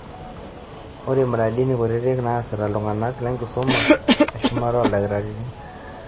Ore mradini kutiti neasita ltung'ana lenkisuma eshumata ooldakitarini.